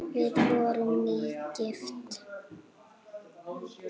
Við vorum nýgift!